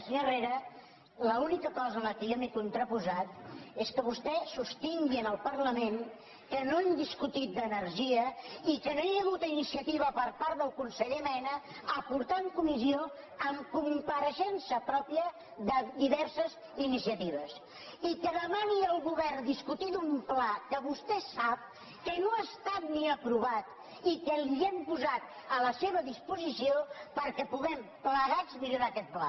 senyor herrera l’única cosa a què jo m’he contraposat és que vostè sostingui en el parlament que no hem discutit d’energia i que no hi ha hagut iniciativa per part del conseller mena a portar en comissió amb compareixença pròpia diverses iniciatives i que demani al govern discutir d’un pla que vostè sap que no ha estat ni aprovat i que l’hem posat a la seva disposició perquè puguem plegats millorar aquest pla